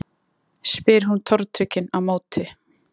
spyr hún tortryggin á móti.